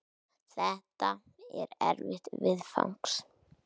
Þetta er erfitt viðfangs.